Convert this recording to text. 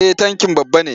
Eh tankin babba ne.